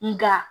Nga